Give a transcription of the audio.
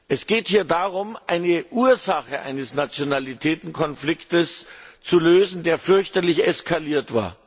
Es geht hier darum, die Ursache eines Nationalitätenkonfliktes zu lösen, der fürchterlich eskalierte.